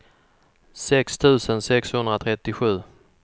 sex tusen sexhundratrettiosju